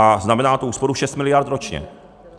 A znamená to úsporu 6 miliard ročně.